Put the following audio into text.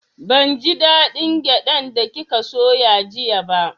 Ban ji da ɗin gyaɗan da kika soya jiya ba